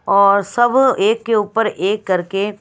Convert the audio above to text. और सब एक के ऊपर एक करके --